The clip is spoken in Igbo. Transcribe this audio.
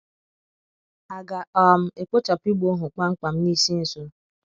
À ga - um ekpochapụ ịgba ohu kpam kpam n’isi nso?